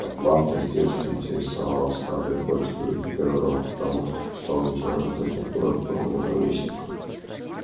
атланта с детства интересовала скарлетт больше других городов потому что по словам джералда этот город был её ровесником